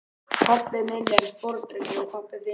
Pabbi minn er sporðdreki og pabbi þinn líka.